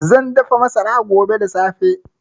Zan dafa masara. gobe da safe